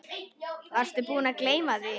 Varstu búinn að gleyma því?